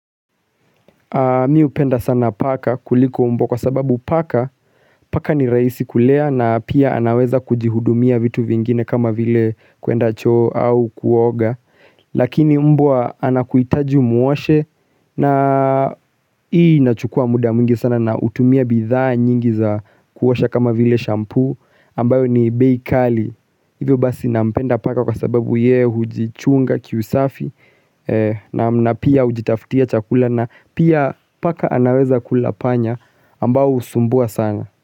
Mimi hupenda sana paka kuliko mbwa kwa sababu paka, paka ni rahisi kulea na pia anaweza kujihudumia vitu vingine kama vile kuenda cho au kuoga Lakini mbwa anakuhitaji umwoshe na ii nachukua muda mwingi sana na utumia bidhaa nyingi za kuosha kama vile shampoo ambayo ni bei kali, hivyo basi na upenda paka kwa sababu ye hujichunga kiusafi na pia ujitaftia chakula na pia paka anaweza kula panya ambao husumbua sana.